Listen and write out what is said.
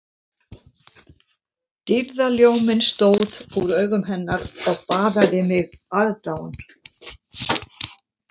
Dýrðarljóminn stóð úr augum hennar og baðaði mig aðdáun